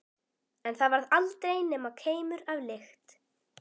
En það varð aldrei nema keimur af lykt.